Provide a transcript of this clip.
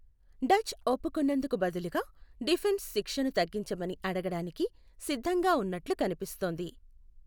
Dutch ఒప్పుకున్నందుకు బదులుగా defence శిక్షను తగ్గించమని అడగడానికి సిద్ధంగా ఉన్నట్లు కనిపిస్తోంది.